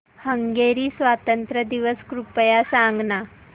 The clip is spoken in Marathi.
हंगेरी स्वातंत्र्य दिवस कृपया सांग ना